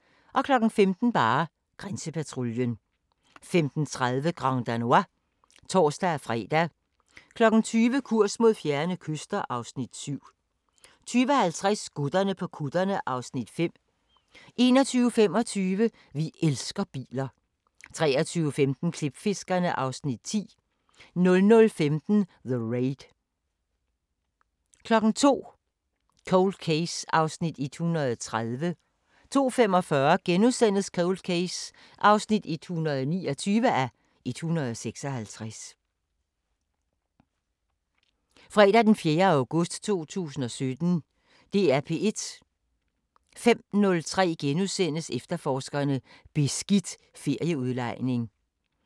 05:03: Efterforskerne: Beskidt ferieudlejning * 05:30: Brinkmann på P1: It-i-alting * 06:05: Sigges sommer: Salg af statslige giganter * 10:03: Masterclasses – Hanne Vibeke Holst: Samtidsromanen 11:03: Terroristerne: Glasvejssagen 11:30: Jeg er mobilafhængig – med Thomas Skov (Afs. 5) 13:03: P1 Business: Kunsten at sidde på 730 mia. kr. 13:30: Harddisken slukker (Afs. 2) 19:03: Sigges sommer: Salg af statslige giganter * 20:03: P1 Dokumentar: De glemte børn *